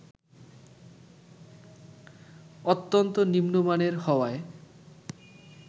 অত্যন্ত নিম্নমানের হওয়ায়